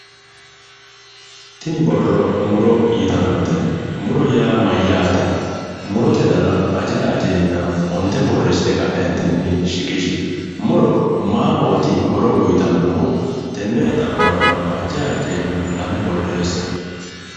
Tini borro muro yitannote. Muro yaa mayyaate? Murote dana ajayi ajeenna onte borreessite shiqishie. Muro maahooti horo uyitannohu? Tenne xa'morano ajjayi ajjeenna lame borreessie.